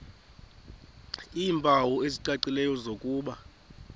iimpawu ezicacileyo zokuba